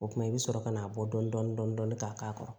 O kumana i bɛ sɔrɔ ka n'a bɔ dɔn k'a k'a kɔrɔ